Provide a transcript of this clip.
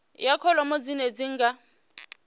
ya kholomo dzine dzi nga